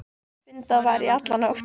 Fundað var í alla nótt.